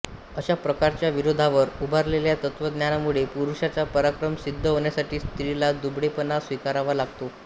अशा प्रकारच्या विरोधावर उभारलेल्या तत्त्वज्ञानामुळे पुरुषाचा पराक्रम सिद्ध होण्यासाठी स्त्रीला दुबळेपणा स्वीकारावा लागतो